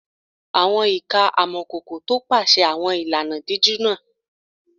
Àwọn ìka amọ̀kòkò tọpasẹ̀ àwọn ìlànà dídíjú náà